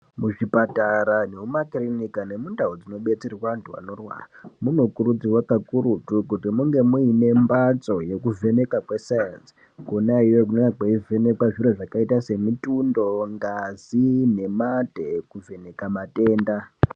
Muzvipatara nemumakirinika nemundau dzino betserwa antu anorwara munokurudzìwa kakurutu kuti munge muine mbatso yekuvheneka kwesaenzi kona iyoyo kune kweivhenekwa zviro zvakaita semutundo ngazi nemate kuvheneka matenda